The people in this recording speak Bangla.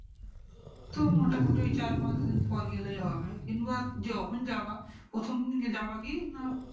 তো মোটা মটি ওই চার পাঁচ দিন পরে গেলেই হবে কিংবা যখন যাবা প্রথম দিন যাবা কি না